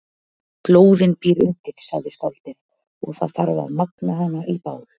Glóðin býr undir, sagði skáldið, og það þarf að magna hana í bál.